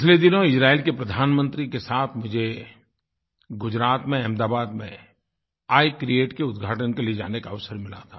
पिछले दिनों इज़राइल के प्रधानमंत्री के साथ मुझे गुजरात में अहमदाबाद में आई क्रिएट के उद्घाटन के लिए जाने का अवसर मिला था